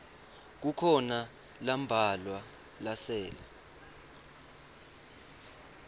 kukhona lambalwa lasele